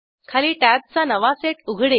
खाली टॅब्जचा नवा सेट उघडेल